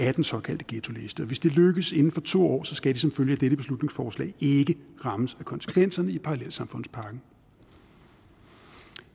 af den såkaldte ghettoliste og hvis det lykkes inden for to år skal de som følge af dette beslutningsforslag ikke rammes af konsekvenserne i parallelsamfundspakken